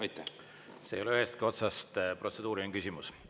See ei ole ühestki otsast protseduuriline küsimus.